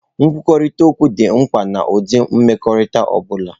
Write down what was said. Nkwurịta okwu dị mkpa n'ụdị mmekọrịta ọ bụla.